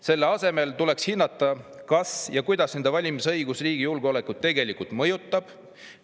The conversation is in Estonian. Selle asemel tuleks hinnata, kas ja kuidas nende valimisõigus riigi julgeolekut tegelikult mõjutab.